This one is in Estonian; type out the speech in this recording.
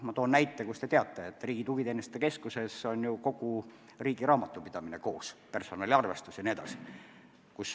Ma toon näiteks, et Riigi Tugiteenuste Keskuses on kogu riigivalitsemise raamatupidamine koos, ka personaliarvestus jne.